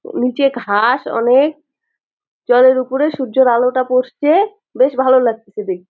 উ নিচে ঘাস অনে-এক জলের উপরে সূর্যের আলোটা পড়ছে-এ বেশ ভালো লাগতিছে দেখ--